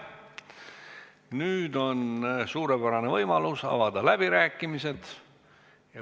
Nüüd on suurepärane võimalus avada läbirääkimised.